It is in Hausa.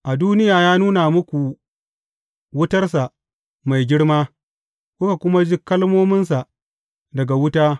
A duniya ya nuna muku wutarsa mai girma, kuka kuma ji kalmominsa daga wuta.